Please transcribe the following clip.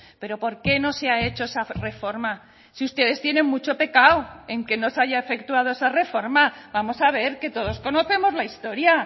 pero por qué no se ha hecho esa reforma si ustedes tienen mucho pecado en que no se haya efectuado esa reforma vamos a ver que todos conocemos la historia